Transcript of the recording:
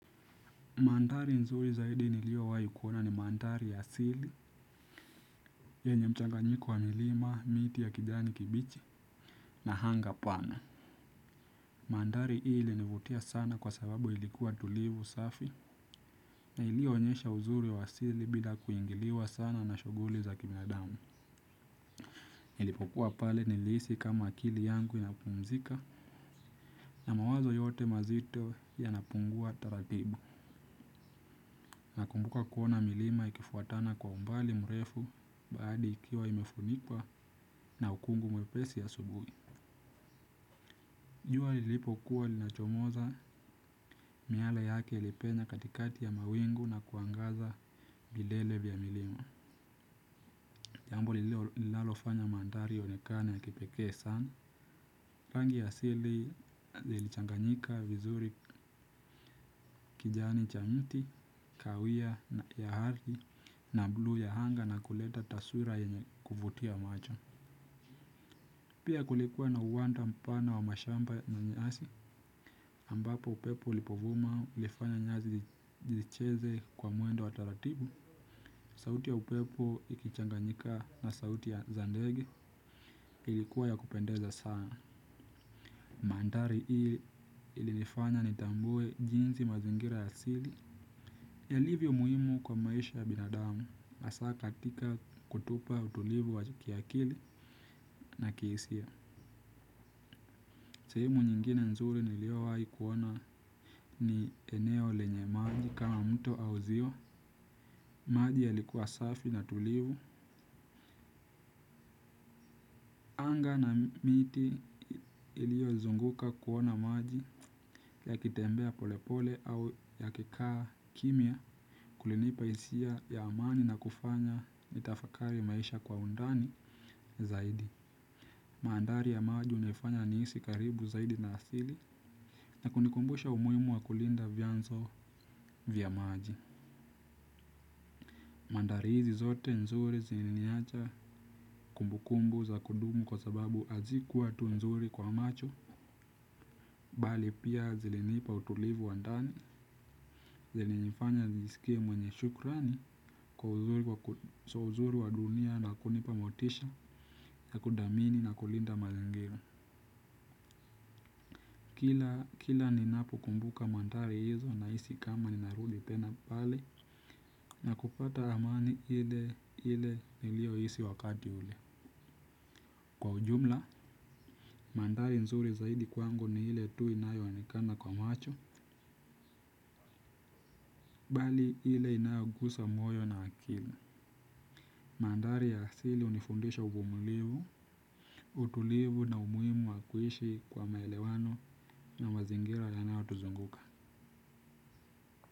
Manthari nzuri zaidi niliowahi kuona ni manthari ya asili. Yenye mchanganyiko wa milima, miti ya kijani kibichi na hanga pana. Manthari hii ilinivutia sana kwa sababu ilikuwa tulivu safi. Na iliyoonyesha uzuri ya wa asili bila kuingiliwa sana na shughuli za kibinadamu. Nilipokua pale nilihisi kama akili yangu inapumzika. Na mawazo yote mazito yanapungua taratibu. Nakumbuka kuona milima ikifuatana kwa umbali mrefu bahari ikiwa imefunikwa na ukungu mwepesi asubuhi. Jua lilipokuwa linachomoza miale yake ilipenya katikati ya mawingu na kuangaza vilele vya milima. Jambo linalofanya manthari yaonekane ya kipekee sana. Rangi ya asili ilichanganyika vizuri kijani cha mti, kawia ya ardhi na buluu ya anga na kuleta taswira yenye kuvutia macho. Pia kulikuwa na uwanda mpana wa mashamba na nyasi ambapo upepo ulipovuma uifanya nyasi zicheze kwa mwendo wa taratibu. Sauti ya upepo ikichanganyika na sauti za ndegi ilikuwa ya kupendeza sana. Manthari hii ilinifanya nitambue jinsi mazingira ya asili yalivyo muhimu kwa maisha ya binadamu hasaa katika kutupa utulivu wa kiakili na kihisia. Sehemu nyingine nzuri niliowai kuona ni eneo lenye maji kama mto au ziwa. Maji yalikuwa safi na tulivu. Anga na miti iliyozunguka kuona maji yakitembea polepole au yakikaa kimya. Kulinipa hisia ya amani na kufanya nitafakari maisha kwa undani zaidi. Manthari ya maji hunifanya nihisi karibu zaidi na asili na kunikumbusha umuhimu wa kulinda vyanzo vya maji. Manthari hizi zote nzuri ziliniacha kumbu kumbu za kudumu kwa sababu hazikuwa tu nzuri kwa macho. Bali pia zilinipa utulivu wa ndani zilinifanya nisikie mwenye shukrani kwa uzuri wa dunia na kunipa motisha. Na kuthamini na kulinda mazangira. Kila ninapokumbuka manthari hizo nahisi kama ni narudi tena pale na kupata amani ile ile niliohisi wakati ule. Kwa ujumla, manthari nzuri zaidi kwangu ni ile tu inayoonekana kwa macho bali ile inayogusa moyo na akili. Manthari ya asili hunifundisha uvumulivu. Utulivu na umuhimu wa kuishi kwa maelewano na mazingira yanayotuzunguka.